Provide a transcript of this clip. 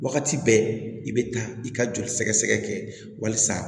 Wagati bɛɛ i bɛ taa i ka joli sɛgɛsɛgɛ kɛ walisa